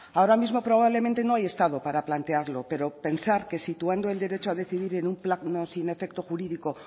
ahora mismo probablemente no hay estado para plantearlo pero pensar que situando el derecho a decidir en un plano sin efecto jurídico o